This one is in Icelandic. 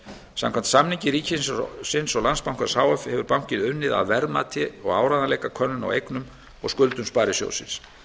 samkvæmt samningi ríkisins og landsbankans h f hefur bankinn unnið að verðmati og áreiðanleikakönnun á eignum og skuldum sparisjóðsins